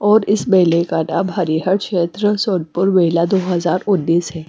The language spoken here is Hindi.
और इस मेले का नाम हरिहर क्षेत्र सोधपुर मेला दो हज़ार उन्नीस है।